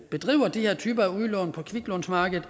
bedriver de her typer udlån på kviklånsmarkedet